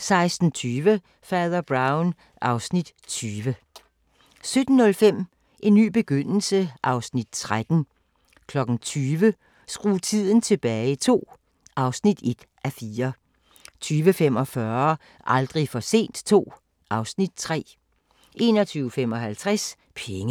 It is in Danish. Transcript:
16:20: Fader Brown (Afs. 20) 17:05: En ny begyndelse (Afs. 13) 20:00: Skru tiden tilbage II (1:4) 20:45: Aldrig for sent II (Afs. 3) 21:55: Penge